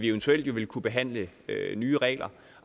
eventuelt vil kunne behandle nye regler